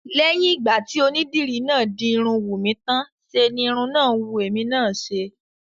Lẹ́yìn ìgbà tí onídìri náà di irun Wùnmí tán ṣe ni irun náà wù èmi náà ṣe